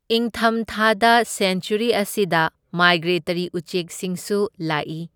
ꯏꯪꯊꯝ ꯊꯥꯗ ꯁꯦꯟꯆ꯭ꯋꯔꯤ ꯑꯁꯤꯗ ꯃꯥꯏꯒ꯭ꯔꯦꯇꯔꯤ ꯎꯆꯦꯛꯁꯤꯡꯁꯨ ꯂꯥꯛꯏ꯫